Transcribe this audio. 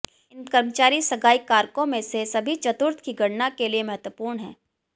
इन कर्मचारी सगाई कारकों में से सभी चतुर्थ की गणना के लिए महत्वपूर्ण हैं